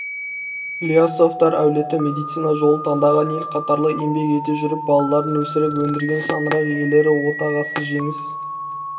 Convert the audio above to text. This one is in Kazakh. ілиясовтар әулеті медицина жолын таңдаған ел қатарлы еңбек ете жүріп балаларын өсіріп-өндірген шаңырақ иелері отағасы жеңіс